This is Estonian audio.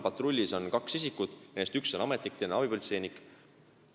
Patrullis on kaks isikut, neist üks on ametnik ja teine abipolitseinik.